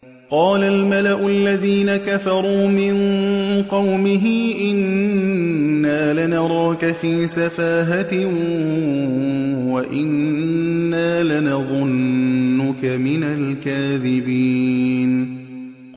قَالَ الْمَلَأُ الَّذِينَ كَفَرُوا مِن قَوْمِهِ إِنَّا لَنَرَاكَ فِي سَفَاهَةٍ وَإِنَّا لَنَظُنُّكَ مِنَ الْكَاذِبِينَ